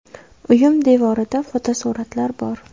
Uyim devorida fotosuratlar bor.